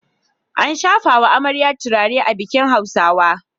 Ana shafawa amarya turare a bikin Hausawa